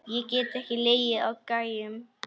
Get ekki legið á gægjum.